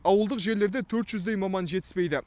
ауылдық жерлерде төрт жүздей маман жетіспейді